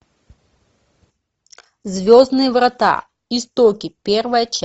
звездные врата истоки первая часть